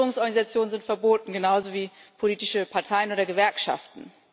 Nichtregierungsorganisationen sind verboten, genauso wie politische Parteien oder Gewerkschaften.